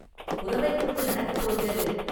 “குரவைக் கூத்து நடக்கப் போகிறது!